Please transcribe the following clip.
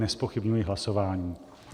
Nezpochybňuji hlasování.